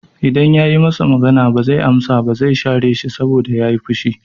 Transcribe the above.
I dan yayi masa magana ba zai amsa ba, zai share shi saboda yayi fushi